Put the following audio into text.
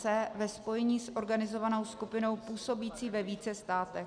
c) ve spojení s organizovanou skupinou působící ve více státech.".